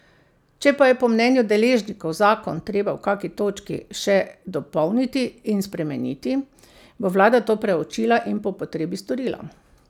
Če pa je po mnenju deležnikov zakon treba v kaki točki še dopolniti in spremeniti, bo vlada to preučila in po potrebi storila.